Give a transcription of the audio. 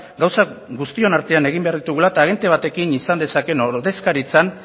gauzak guztion artean egin behar ditugula eta agente batekin izan dezakeena ordezkaritzan